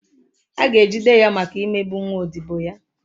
A ga-ejide ya maka imegbu nwa odibo ya.